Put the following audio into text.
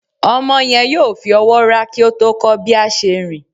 Omo yen yóò fí ọwọ rà ki o tó kó bi a se rín